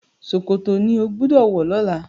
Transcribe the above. ṣòkòtò ní o gbódò wọ lọla!